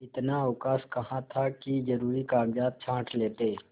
इतना अवकाश कहाँ था कि जरुरी कागजात छॉँट लेते